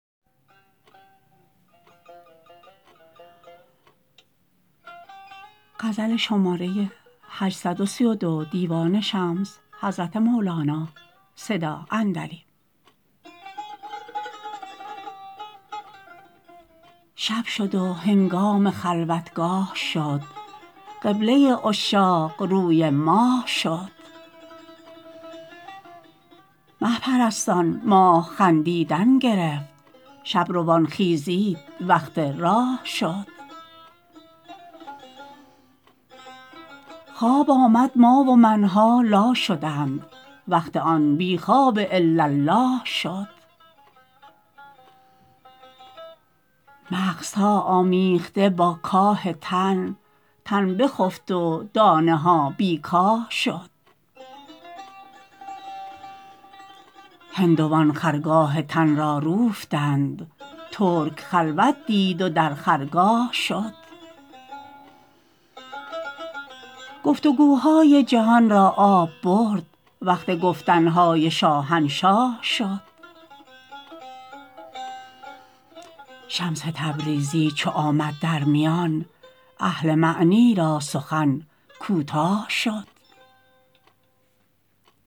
شب شد و هنگام خلوتگاه شد قبله عشاق روی ماه شد مه پرستان ماه خندیدن گرفت شب روان خیزید وقت راه شد خواب آمد ما و من ها لا شدند وقت آن بی خواب الاالله شد مغزها آمیخته با کاه تن تن بخفت و دانه ها بی کاه شد هندوان خرگاه تن را روفتند ترک خلوت دید و در خرگاه شد گفت و گوهای جهان را آب برد وقت گفتن های شاهنشاه شد شمس تبریزی چو آمد در میان اهل معنی را سخن کوتاه شد